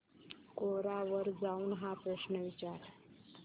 कोरा वर जाऊन हा प्रश्न विचार